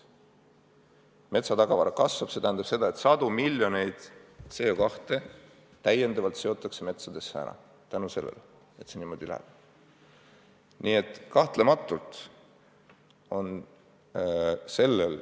Metsatagavara kasvab ja see tähendab seda, et täiendavalt seotakse metsa sadu miljoneid tonne CO2.